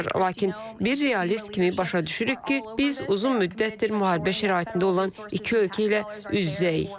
Lakin bir realist kimi başa düşürük ki, biz uzun müddətdir müharibə şəraitində olan iki ölkə ilə üz-üzəyik.